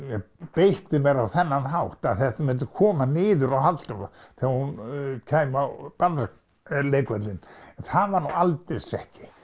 beitti mér á þennan hátt að þetta myndi koma niður á Halldóru þegar hún kæmi á barnaleikvöllinn það var nú aldeilis ekki